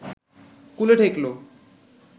কূলে ঠেকল